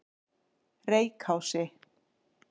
Reykási